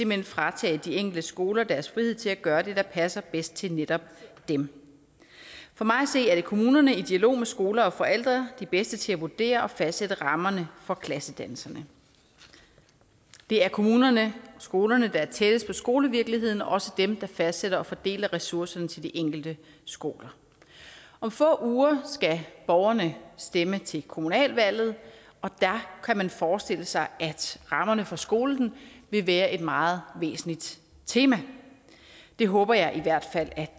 man fratager de enkelte skoler deres frihed til at gøre det der passer bedst til netop dem for mig at se er det kommunerne i dialog med skoler og forældre der de bedste til at vurdere og fastsætte rammerne for klassedannelserne det er kommunerne skolerne der er tættest på skolevirkeligheden og også dem der fastsætter og fordeler ressourcerne til de enkelte skoler om få uger skal borgerne stemme til kommunalvalget og der kan man forestille sig at rammerne for skolen vil være et meget væsentligt tema det håber jeg i hvert fald